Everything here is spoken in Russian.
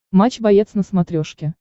матч боец на смотрешке